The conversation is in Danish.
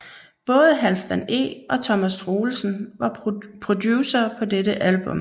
Både Halfdan E og Thomas Troelsen var producere på dette album